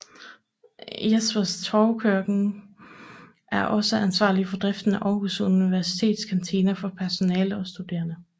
Jespers Torvekøkken er også ansvarlige for driften af Aarhus Universitets kantiner for personale og studerende